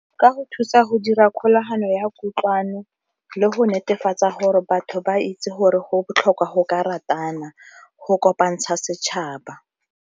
Ka go thusa go dira kgolagano ya kutlwano le go netefatsa gore batho ba itse gore go botlhokwa go ka ratana, go kopantsha setšhaba.